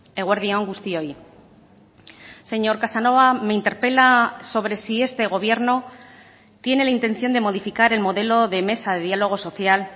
eguerdi on guztioi señor casanova me interpela sobre si este gobierno tiene la intención de modificar el modelo de mesa de diálogo social